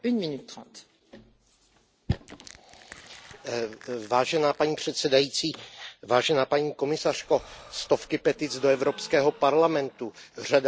Pane předsedající, paní komisařko, stovky petic do Evropského parlamentu, řada národních iniciativ, každý rok alespoň jedna ústní otázka.